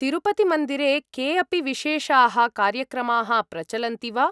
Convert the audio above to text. तिरुपतिमन्दिरे के अपि विशेषाः कार्यक्रमाः प्रचलन्ति वा?